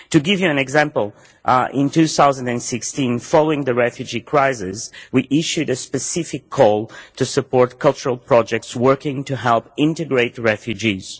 To give you an example, in 2016, following the refugee crisis, we issued a specific call to support cultural projects working to help integrate refugees.